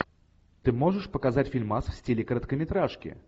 ты можешь показать фильмас в стиле короткометражки